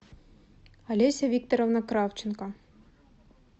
олеся викторовна кравченко